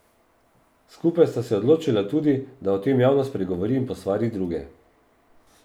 Skupaj sta se odločila tudi, da o tem javno spregovori in posvari druge.